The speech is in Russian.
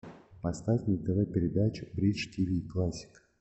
поставь на тв передачу бридж тв классик